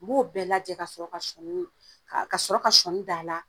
N b'o bɛɛ lajɛ ka sɔrɔ ka sɔɔnii kaa ka sɔrɔ ka sɔɔni d'a la